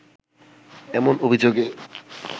এমন অভিযোগে